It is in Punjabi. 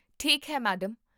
ਠੀਕ ਹੈ, ਮੈਡਮ